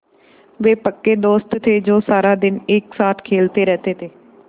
वे पक्के दोस्त थे जो सारा दिन एक साथ खेलते रहते थे